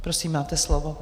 Prosím, máte slovo.